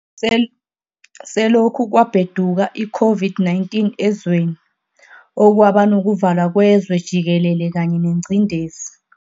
Selokhu kwabheduka iCOVID-19 ezweni, okwaba nokuvalwa kwezwe jikelele kanye nengcindezi